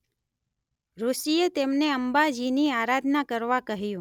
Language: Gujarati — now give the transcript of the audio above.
ઋષિએ તેમને અંબાજીની આરાધના કરવા કહ્યું.